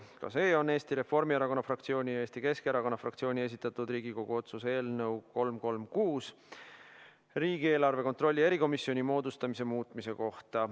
Ka see on Eesti Reformierakonna fraktsiooni ja Eesti Keskerakonna fraktsiooni esitatud Riigikogu otsuse eelnõu, nr 336, "Riigieelarve kontrolli erikomisjoni moodustamine" muutmise kohta.